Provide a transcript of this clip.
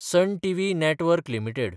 sun TV network limited